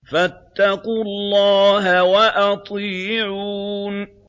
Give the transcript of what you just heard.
فَاتَّقُوا اللَّهَ وَأَطِيعُونِ